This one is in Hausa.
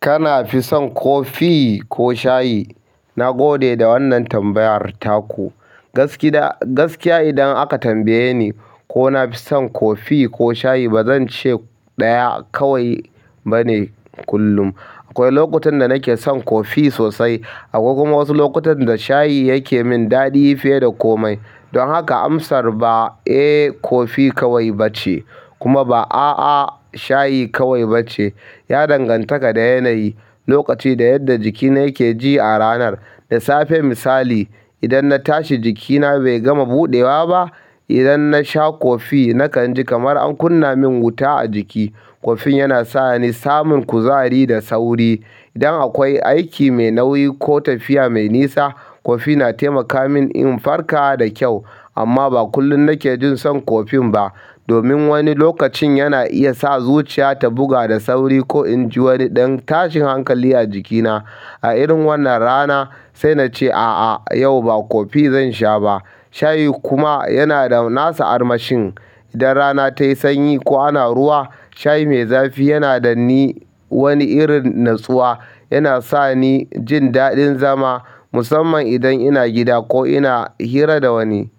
Kana fi son ko fi ko shayi? Na gode da wannan tambayar taku. Gaskiya gaskiya idan aka tambaye ni ko na fi son kofi ko shayi ba zan ce ɗaya kawai bane kullum. Akwai lokutan da nake son kofi sosai. Akwai kuma wasu lokutan da shayi yake min daɗi fiye da komai. Don haka amsar ba "Eh kofi kawai" bace kuma ba "A'a shayi kawai" bace. Ya danganta da yanayi, lokaci da yadda jikina yake ji a ranar. Da safe misali, idan na tashi jikina bai gama buɗewa ba, idan na sha kofi nakan ji kamar an kunna min wuta a jiki. Kofin yana sa ni samun kuzari da sauri. Idan akwai aiki mai nauyi ko tafiya mai nisa, kofi na taimaka min in farka da kyau. Amma ba kullum nake jin son kofin ba. Domin wani lokacin yana iya sa zuciya ta buga da sauri ko in ji wani ɗan tashin hankali a jikina. A irin wannan rana sai na ce, "A'a yau ba kofi zan sha ba." Shayi kuma yana da nasa armashin. Idan rana tayi sanyi ko ana ruwa shayi mai zafi yana da ni wani irin natsuwa yana sa ni jin daɗin zama musamman idan ina gida ko ina hira da wani.